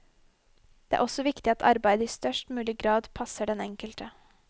Det er også viktig at arbeidet i størst mulig grad passer den enkelte.